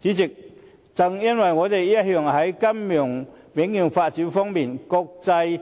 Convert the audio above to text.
主席，正因為我們一向在金融領域發展方面與國際